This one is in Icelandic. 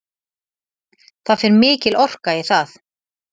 Það fer mikil orka í það